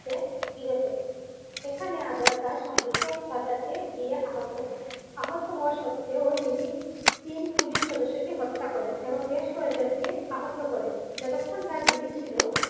তাকে ঘিরে ফেলে এখানে আজাদ তার সঙ্গীকে বাঁচাতে গিয়ে আহত হন আহত হওয়ার সত্ত্বেও তিনি তিন পুলিশ সদস্যকে হত্যা করেন এবং বেশ কয়েকজনকে আহত করেন যতক্ষণ তার গুলি ছিল ।